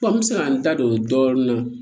n bɛ se ka n da don dɔɔnin na